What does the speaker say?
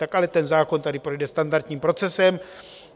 Tak ale ten zákon tady projde standardním procesem.